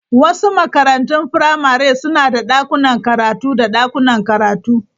Wasu makarantun firamare suna da dakunan karatu da dakunan karatu.